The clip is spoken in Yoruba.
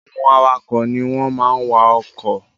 Àwọn awakọ̀ ní wọ́n máa n wa ọkọ̀ Drivers are those that drive cars